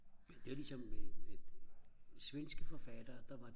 men det er jo ligesom med svenske forfattere der var